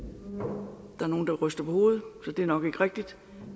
er nogle der ryster på hovedet så det er nok ikke rigtigt